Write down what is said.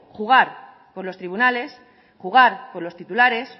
jugar con los tribunales jugar con los titulares